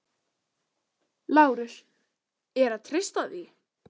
LÁRUS: Er að treysta því?